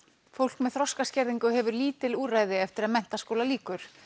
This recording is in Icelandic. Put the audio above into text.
fólk með þroskaskerðingu hefur lítil úrræði eftir að menntaskóla lýkur